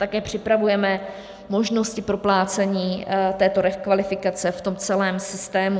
Také připravujeme možnosti proplácení této rekvalifikace v tom celém systému.